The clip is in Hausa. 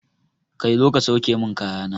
Kai zo ka sauke mun kaya na!